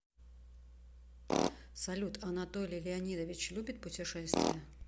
салют анатолий леонидович любит путешествия